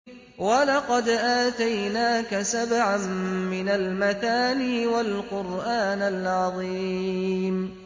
وَلَقَدْ آتَيْنَاكَ سَبْعًا مِّنَ الْمَثَانِي وَالْقُرْآنَ الْعَظِيمَ